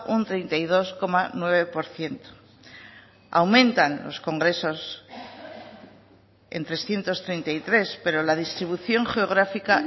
un treinta y dos coma nueve por ciento aumentan los congresos en trescientos treinta y tres pero la distribución geográfica